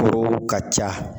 Koo ka ca